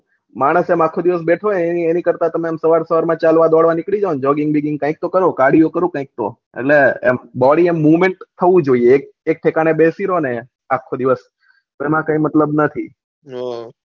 માનસ એમ આખો દિવસ બેઠું હોય એની કરતા તમે ચાલવા દોડવા નીકળું જાવ ને જોગ્ગીંગ બીગીંગ કાય તો કરો કાર્દીઓ કરો કાયિક તો એટલે એમ બોડી એમ મોવેમેન્ટ થવું જોયીયે એક ઠીકાને બેથી રહોને આખો દિવસ એમાં કોઈ મતલબ નહી